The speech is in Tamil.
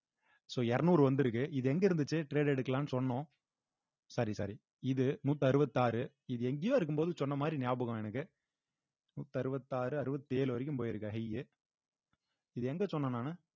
so இருநூறு வந்திருக்கு இது எங்க இருந்துச்சு trade எடுக்கலான்னு சொன்னோம் sorry sorry இது நூத் அறுவத் ஆறு இது எங்கயோ இருக்கும்போது சொன்ன மாதிரி ஞாபகம் எனக்கு நூத் அறுவத் ஆறு அறுவத்தி ஏழு வரைக்கும் போயிருக்கு high உ இது எங்க சொன்னேன் நானு